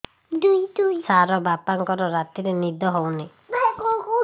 ସାର ବାପାଙ୍କର ରାତିରେ ନିଦ ହଉନି